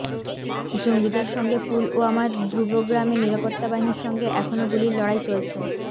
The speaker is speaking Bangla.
জঙ্গিদের সঙ্গে পুলওয়ামার দ্রুবগ্রামে নিরাপত্তাবাহিনীর সঙ্গে এখনও গুলির লড়াই চলছে